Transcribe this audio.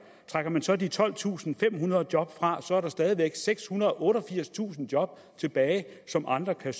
trækker man så de tolvtusinde og femhundrede job fra er der stadig væk sekshundrede og otteogfirstusind job tilbage som andre kan